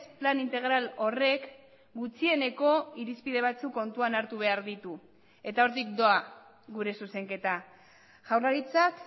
plan integral horrek gutxieneko irizpide batzuk kontuan hartu behar ditu eta hortik doa gure zuzenketa jaurlaritzak